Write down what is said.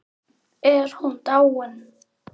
Er hún dáin?